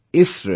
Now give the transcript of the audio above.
isro